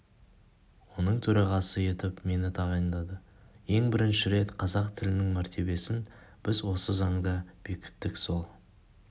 оның төрағасы етіп мені тағайындады ең бірінші рет қазақ тілінің мәртебесін біз осы заңда бекіттік сол